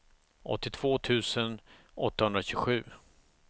åttiotvå tusen åttahundratjugosju